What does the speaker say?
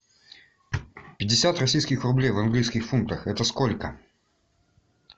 пятьдесят российских рублей в английских фунтах это сколько